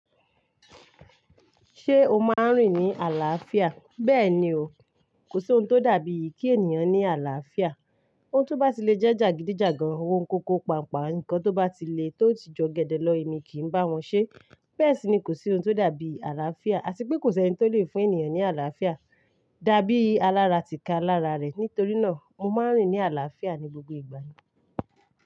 Ṣé o máa ń rìn ní àlàáfíà? Bẹ́ẹ̀ ni o, kò sí ohun tó dàbí ì kí ènìyàn ní àlàáfíà. Ohun tó bá ti le jẹ́ jàgídíjàgan, ohun koko paapaa nǹkan tó bá ti le tó ti jọ gẹdẹ lọ èmi kì í bá wọn ṣe. Bẹ́ẹ̀ sì ni kò sí ohun tó dàbí àlàáfíà àti pé kò sẹni tó le fún ènìyàn ní àlàáfíà. Dàbí alára ti kalára rẹ̀. Nítorí náà mo máa ń rìn ní àlàáfíà ní gbogbo ìgbà yẹn.